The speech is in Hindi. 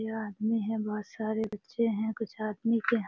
यह आदमी हैं बहुत सारे बच्चे हैं कुछ आदमी के --